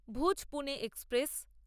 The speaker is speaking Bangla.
ভুজ পুনে এক্সপ্রেস